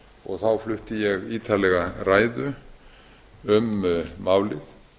og þá flutti ég ítarlega ræðu um málið